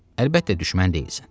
Əlbəttə düşmən deyilsən.